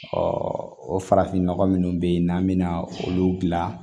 o farafinnɔgɔ minnu bɛ yen n'an bɛ na olu gilan